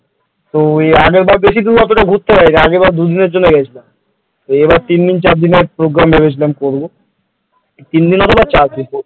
তো আগের বার বেশি দূর অতটা ঘুরতে পারিনি আগের বার দুদিনের জন্য গিয়েছিলাম এবার তিন দিন চার দিনের program ভেবেছিলাম করবো তিন দিন অথবা চারদিন,